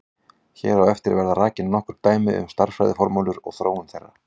Hér á eftir verða rakin nokkur dæmi um stærðfræðiformúlur og þróun þeirra.